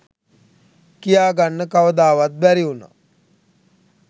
කියා ගන්න කවදාවත් බැරි උනා.